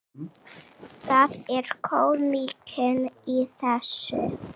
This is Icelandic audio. Það er kómíkin í þessu.